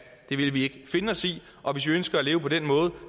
det vil vi ikke finde os i og hvis de ønsker at leve på den måde